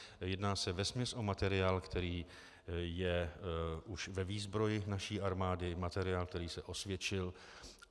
Jedná se vesměs o materiál, který je už ve výzbroji naší armády, materiál, který se osvědčil.